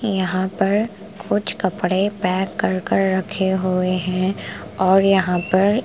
यहाँ पर कुछ कपड़े पैक कर कर रखे हुए हैं और यहाँ पर --